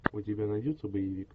у тебя найдется боевик